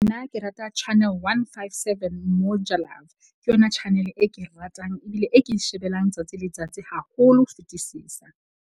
Nna ke rata channel one, five, seven Moja Love. Ke yona channel e ke e ratang ebile e ke shebellang tsatsi le tsatsi haholo ho fetisisa.